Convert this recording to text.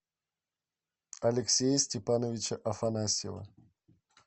алексея степановича афанасьева